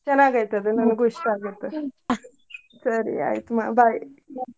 ಚನ್ನಾಗ್ ಐತ್ ಅದು ನನಗೂ ಇಸ್ಟಾ ಆಗುತ್ತ ಸರಿ ಆಯಿತು ಮಾ bye .